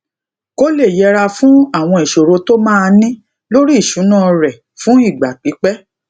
kó lè yẹra fún àwọn ìṣòro tó máa ní lórí isuna re fun igba pipe